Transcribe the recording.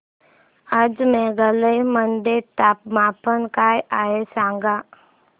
आज मेघालय मध्ये तापमान काय आहे सांगा